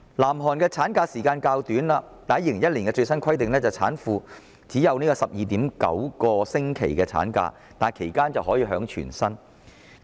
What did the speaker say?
南韓的產假期限雖然較短 ，2001 年的最新規定是產婦只可放取 12.9 星期產假，但其間卻可支取全額薪酬。